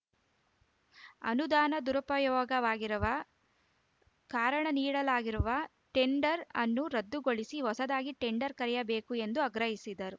ಅನುದಾನ ದುರುಪಯೋಗವಾಗಿರುವ ಕಾರಣ ನೀಡಲಾಗಿರುವ ಟೆಂಡರ್‌ ಅನ್ನು ರದ್ದುಗೊಳಿಸಿ ಹೊಸದಾಗಿ ಟೆಂಡರ್‌ ಕರೆಯಬೇಕು ಎಂದು ಆಗ್ರಹಿಸಿದರು